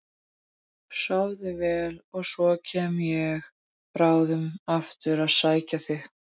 Sofðu nú vel og svo kem ég bráðum aftur að sækja þig.